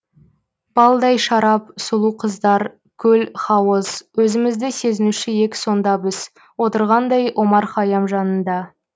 балдай шарап сұлу қыздар көл һауыз өзімізді сезінуші ек сонда біз отырғандай омар һайям жанында